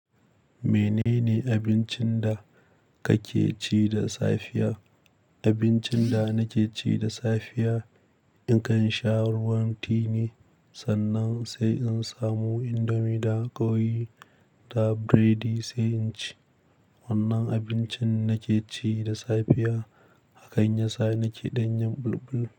Menene abincin da kake ci da safiya? Abincin da nake ci da safiya, nakan sha ruwan tea ne sannan sai in samu indomi da ƙoyi da biredi sai in ci. Wannan abincin nake ci da safiya, hakan yasa nake ɗanyin bulbul.